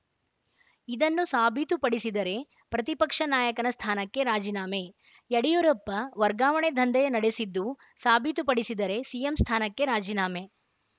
ಇದನ್ನು ಸಾಬೀತುಪಡಿಸಿದರೆ ಪ್ರತಿಪಕ್ಷ ನಾಯಕನ ಸ್ಥಾನಕ್ಕೆ ರಾಜೀನಾಮೆ ಯಡಿಯೂರಪ್ಪ ವರ್ಗಾವಣೆ ದಂಧೆ ನಡೆಸಿದ್ದು ಸಾಬೀತುಪಡಿಸಿದರೆ ಸಿಎಂ ಸ್ಥಾನಕ್ಕೆ ರಾಜೀನಾಮೆ